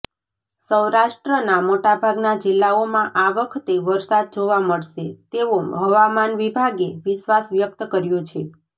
સૌરાષ્ટ્રના મોટાભાગના જિલ્લાઓમાં આ વખતે વરસાદ જોવા મળશે તેવો હવામાન વિભાગે વિશ્વાસ વ્યક્ત કર્યો છે